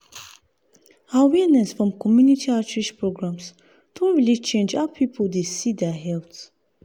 awareness from community outreach programs don really change how people dey see their health.